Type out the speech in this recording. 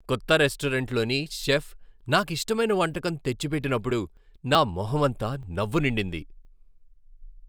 కొత్త రెస్టారెంట్లోని చెఫ్ నాకు ఇష్టమైన వంటకం తెచ్చిపెట్టినప్పుడు నా మొహంమంతా నవ్వు నిండింది.